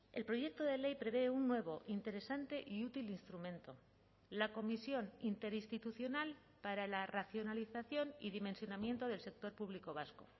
el proyecto de ley prevé un nuevo interesante y útil instrumento la comisión interinstitucional para la racionalización y dimensionamiento del sector público vasco